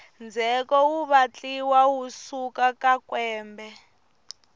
ndzheko wu vatliwa wu suka ka kwembe